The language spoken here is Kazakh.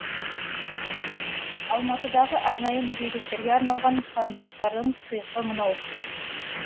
алматыдағы арнайы мүгедектерге арналған пандустардың сыйқы мынау